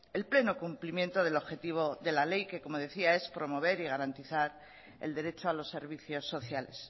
el pleno cumplimiento del objetivo de la ley que como decía es promover y garantizar el derecho a los servicios sociales